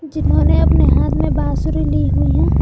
जिन्होंने अपने हाथ में बांसुरी ली हुई है।